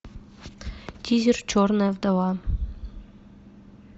тизер черная вдова